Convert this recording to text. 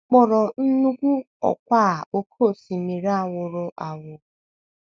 A kpọrọ nnukwu ọkwá a oké osimiri a wụrụ awụ.